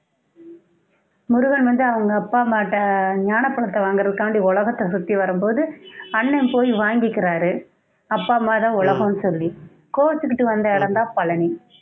முருகன் வந்து அவங்க அப்பா அம்மாட்ட ஞானப்பழத்தை வாங்குறதுகாண்டி உலகத்தை சுத்தி வரும்போது அண்ணன் போய் வாங்கிக்கிறாரு அப்பா அம்மா தான் உலகம்ன்னு சொல்லி கோச்சிக்கிட்டு வந்த இடம்தான் பழனி